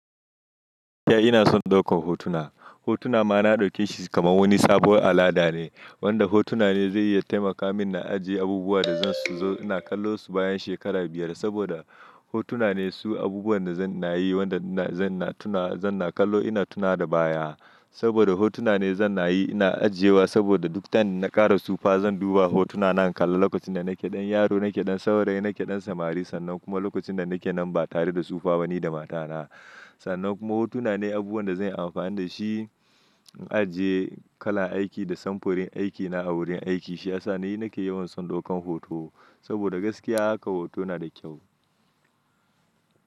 Gaskiya ina son ɗaukar hotuna. Hotuna ma na ɗauke shi kamar wani sabuwar al'ada ne, wanda hotuna ne zai iya taimaka min na ajiye abubuwan da zan su zo ina kallo su bayan shekara biyar saboda hotuna ne su abubuwan da zan na yi wanda zan na tuna, zan na kallo ina tuna da baya. Saboda hotuna ne zan na yi ina ajiyewa saboda duk tan na ƙara tsufa zan duba hotuna na kalla lokacin da nake ɗan yaro, nake ɗan saurayi, nake ɗan samari sannan kuma lokacin da nake nan ba tare da tsufa bani da matana. Sannan kuma hotuna ne abubuwan da zan yi amfani da shi in ajiye kalan aiki da samfurin aikina a wurin aiki. Shi ya sa ni nake yawan son ɗaukan hoto saboda gaskiya haka hoto na da kyau.